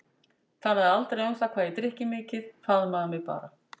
Talaði aldrei um það hvað ég drykki mikið, faðmaði mig bara.